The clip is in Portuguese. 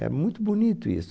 É muito bonito isso.